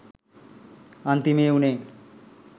අන්තිමේ උනේ